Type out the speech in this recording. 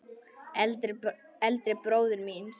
Eldri bróður míns?